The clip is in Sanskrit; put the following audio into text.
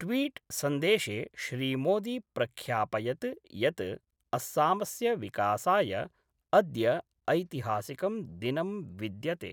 ट्वीट्सन्देशे श्रीमोदी प्रख्यापयत् यत् अस्सामस्य विकासाय अद्य ऐतिहासिकं दिनं विद्यते।